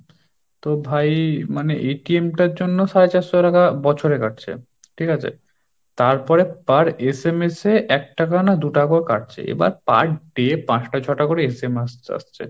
তো ভাই মানে জন্য সাড় চারশো টাকা বছরে কাটছে ঠিক আছে, তারপরে পরে SMS এ একটাকা না দুটাকাও কাটছে এবার per day পাঁচটা ছটা করে SMS আসছে,